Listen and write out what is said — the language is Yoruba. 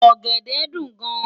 Ògèdè dún gán